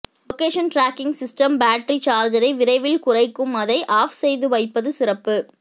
location tracking system battery சார்ஜை விரைவில் குறைக்கும் அதை ஆஃப் செய்து வைப்பது சிறப்பு